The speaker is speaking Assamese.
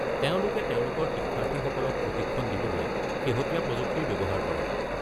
তেওঁলোকে তেওঁলোকৰ শিক্ষাৰ্থীসকলক প্ৰশিক্ষণ দিবলৈ শেহতীয়া প্ৰযুক্তিৰ ব্যৱহাৰ কৰে।